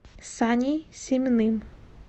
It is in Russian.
саней семиным